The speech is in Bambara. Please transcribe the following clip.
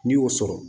N'i y'o sɔrɔ